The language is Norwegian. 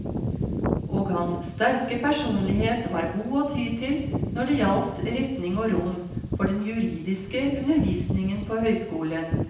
Og hans sterke personlighet var god å ty til når det gjaldt retning og rom for den juridiske undervisningen på høyskolen.